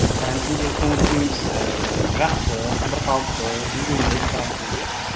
карантиндегі көңіл күйіміз ііі жақсы бір қалыпты үйрендік карантинге